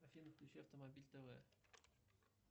афина включи автомобиль тв